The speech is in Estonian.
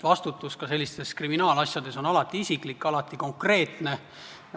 Vastutus ka sellistes kriminaalasjades on alati isiklik, alati konkreetne.